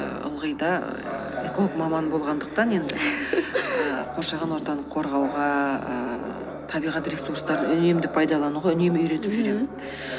ылғи да ііі эколог маманы болғандықтан енді қоршаған ортаны қорғауға ііі табиғат ресурстарды үнемді пайдалануға үнемі үйретіп жүремін мхм